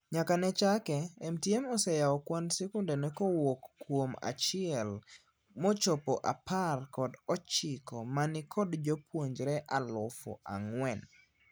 Nyaka ne chake, MTM oseyao kwand sikundene kowuok kuom a chiel mochopo apar kod ochiko manikod jopuonjre alufu ang'wen.